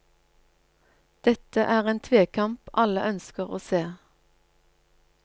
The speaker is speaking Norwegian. Dette er en tvekamp alle ønsker å se.